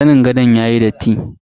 Zanin gadon yayi datti.